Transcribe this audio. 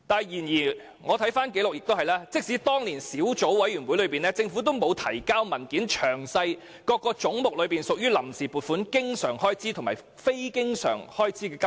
然而，即使當年成立了小組委員會，政府亦未曾提交文件，詳列各個總目中屬於臨時撥款的經常開支及非經常開支的金額。